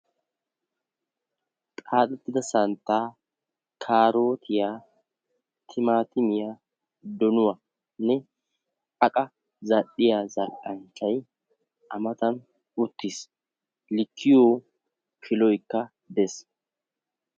xaaxxettida santtaa, kaaroottiya, timaatimmiya, donuwanne aqa zal'iya zal'iya zal'anchchay a matan uttiis. likkiyo kiloykka des.